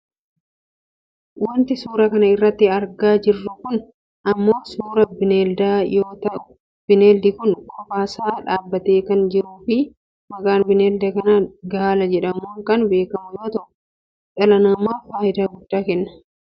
Wanti suuraa kana irratti argaa jirru kun ammoo suuraa bineeldaa yoo ta'u bineeldi kun kophaasaa dhaabbatee kan jiruufi maqaan bineelda kanaa Gaala jedhamuun kan beekkamu yoo ta'u dhala namaaf fayidaa guddaa kenna.